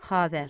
Xavər.